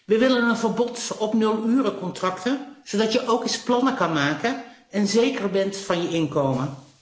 We willen een verbod op nulurencontracten zodat je ook eens plannen kunt maken en zeker bent van je inkomen.